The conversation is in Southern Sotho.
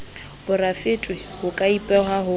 porafete ho ka ipehwa ho